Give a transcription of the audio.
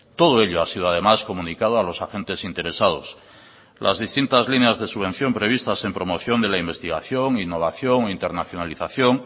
todo ello ha sido además comunicado a los agentes interesados las distintas líneas de subvención previstas en promoción de la investigación innovación internacionalización